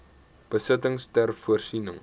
besittings ter voorsiening